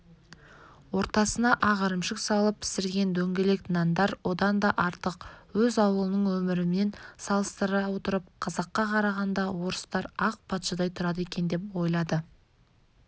ортасына ақ ірімшік салып пісірген дөңгелек нандар одан да артық өз ауылының өмірімен салыстыра отырып қазаққа қарағанда орыстар ақ патшадай тұрады екен деп ойлады